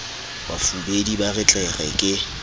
bafubedi ba re tlere ke